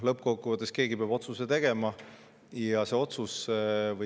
Lõppkokkuvõttes peab keegi otsuse tegema.